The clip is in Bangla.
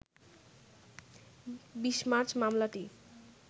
২০ মার্চ মামলাটি